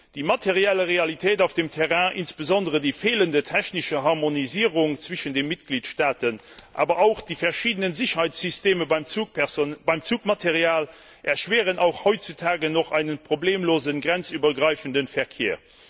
Die materielle Realität auf dem Terrain, insbesondere die fehlende technische Harmonisierung zwischen den Mitgliedstaaten, aber auch die verschiedenen Sicherheitssysteme beim Zugmaterial erschweren auch heutzutage noch einen problemlosen grenzübergreifenden Verkehr.